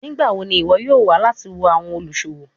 Nigbawo ni iwọ yoo wa lati wo awọn oluṣowo?